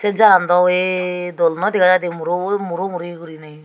jagandw weye dol noi dega jaidey murobo muromuri guriney.